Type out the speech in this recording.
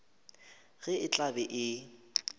ge e tla be e